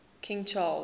king charles